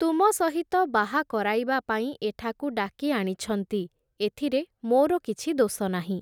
ତୁମ ସହିତ ବାହା କରାଇବା ପାଇଁ, ଏଠାକୁ ଡାକି ଆଣିଛନ୍ତି, ଏଥିରେ ମୋର କିଛି ଦୋଷ ନାହିଁ ।